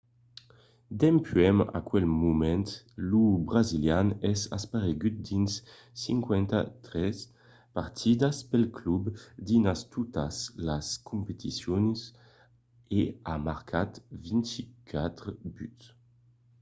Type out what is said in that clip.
dempuèi aquel moment lo brasilian es aparegut dins 53 partidas pel club dins totas las competicions e a marcat 24 buts